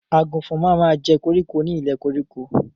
Àgùnfọn ma ma jẹ́ koríko ni ilẹ̀ koríko.